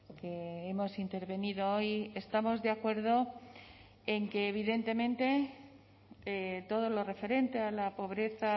que hemos intervenido hoy estamos de acuerdo en que evidentemente todo lo referente a la pobreza